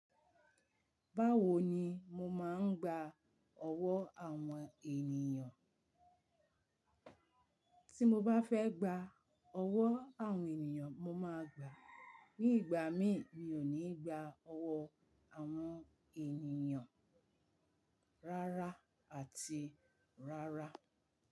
Báwo ni mo máa ń gba owo àwọn ènìyàn? Tí mo bá fẹ́ gba owo àwọn ènìyàn, mo máa gbà á. Ní ìgbà mí, mi ò ní gba owo àwọn ènìyàn rárá àti rárá.